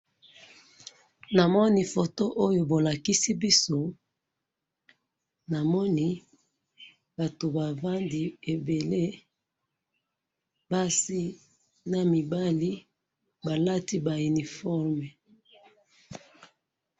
na moni photo oyo bo lakisi biso na moni batu ba vandi ebele basi nami bali balati ba iniforme